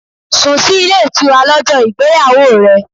Sùn sí ilé ìtura lọ́jọ́ ìgbéyàwó rẹ.